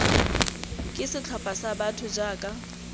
ke setlhopha sa batho jaaka